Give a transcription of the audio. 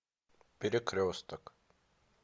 перекресток